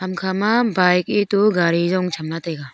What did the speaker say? ham ma bike etu gari jong chamla taiga.